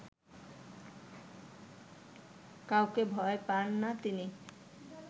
কাউকে ভয় পান না তিনি